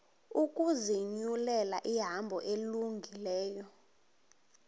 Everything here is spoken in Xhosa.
ukuzinyulela ihambo elungileyo